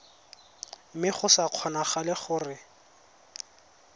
mme go sa kgonagale gore